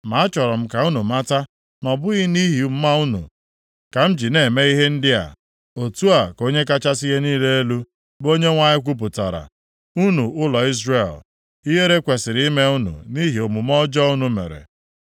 Ma achọrọ m ka unu mata na ọ bụghị nʼihi mma unu ka m ji na-eme ihe ndị a. Otu a ka Onye kachasị ihe niile elu, bụ Onyenwe anyị kwupụtara. Unu ụlọ Izrel, ihere kwesiri ime unu nʼihi omume ọjọọ unu mere.